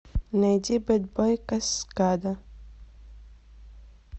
найди бэд бой каскада